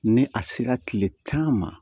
Ni a sera kile tan ma